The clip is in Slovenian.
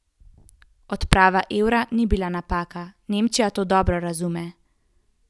Odprava evra bi bila napaka, Nemčija to dobro razume.